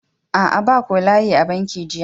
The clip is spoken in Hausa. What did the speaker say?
Aa, ba ko layi a banki jiya.